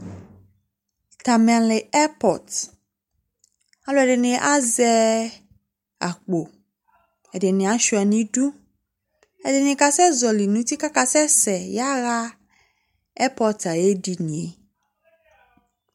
Kamele ɛrpɔt Alʋɛdɩnɩ azɛ akpo, ɛdɩnɩ asʋɩa nʋ idu, ɛdɩnɩ kasɛzɔlɩ nʋ uti kʋ akasɛsɛ yaɣa ɛrpɔt ayʋ edini yɛ